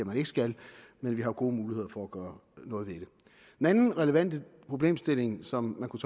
man ikke skal men vi har gode muligheder for at gøre noget ved det den anden relevante problemstilling som man kunne